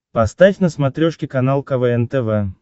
поставь на смотрешке канал квн тв